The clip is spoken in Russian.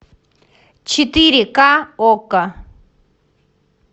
четыре ка окко